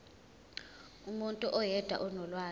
umuntu oyedwa onolwazi